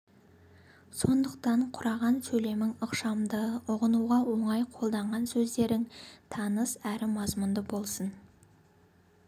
сондықтан құраған сөйлемің ықшамды ұғынуға оңай қолданған сөздерің таныс әрі мазмұнды болсын